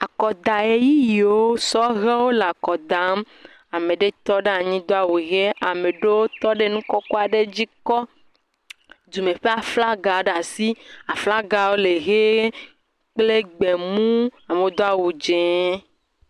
Akɔdaʋeyiʋiwo sɔhewo le akɔ dam. Ame aɖewo tɔ ɖe anyi do awu ʋi. ame ɖewo tɔ ɖ e nu kɔkɔ aɖe dzi kɔ dɔme ƒe aflagawo ɖe asi. Aflagawo le ʋie kple gbemu. Amewo do awu dze.